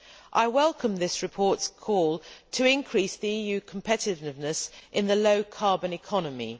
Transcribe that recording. I welcome this report's call to increase the EU competitiveness in the low carbon economy.